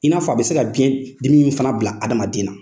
I n'a fɔ a bɛ se ka biɲɛdimi fana bila hadamaden na.